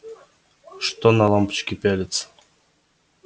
что на лампочки пялиться